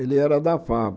Ele era da Fab.